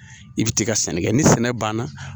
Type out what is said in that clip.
I bɛ t'i ka sanni kɛ ni sɛnɛ banna